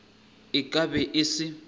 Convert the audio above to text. e ka be e se